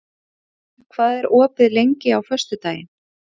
Olav, hvað er opið lengi á föstudaginn?